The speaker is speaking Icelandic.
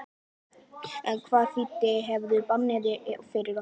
En hvaða þýðingu hefur bannið fyrir okkur?